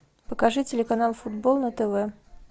покажи телеканал футбол на тв